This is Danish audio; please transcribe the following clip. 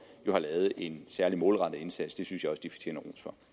jo har lavet en særlig målrettet indsats det synes jeg også de fortjener